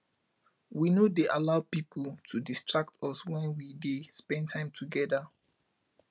we no dey allow pipu to distract us wen we dey spend time togeda